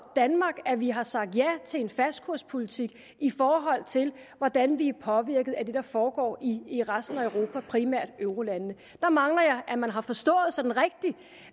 danmark at vi har sagt ja til en fastkurspolitik i forhold til hvordan vi er påvirket af det der foregår i resten af europa primært i eurolandene der mangler jeg at man har forstået